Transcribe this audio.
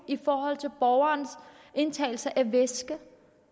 for borgernes indtagelse af væske